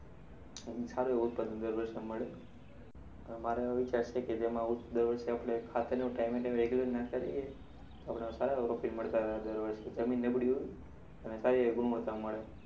અને સારુ ઉત્પાદન દર વર્ષે મળે. મારો એવો વિચાર છે કે જેમા દર વર્ષે આપણે ખાતરનું time એ time એ regular નાખતા રહીએ. તો આપણે સારા એવા profit મળતા રહે દર વર્ષે. જમીન નબળી હોય તો તેને સારી એવી ગુણવત્તા મળે.